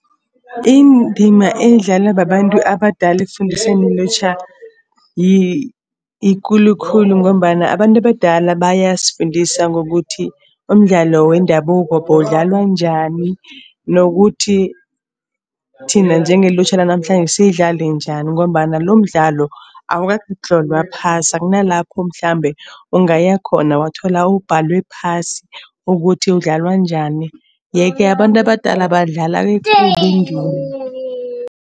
Indima edlalwa babantu abadala ekufundiseni ilutjha yikulu khulu ngombana abantu abadala bayasifundisa ngokuthi, umdlalo wendabuko bowudlalwa njani nokuthi, thina njengelutjha lanamhlanje siyidlale njani. Ngombana lo mdlalo awukatlolwa phasi akunalapho mhlambe ungaya khona wathola ubhalwe phasi ukuthi udlalwa njani. Yeke abantu abadala badlala ekulu indima.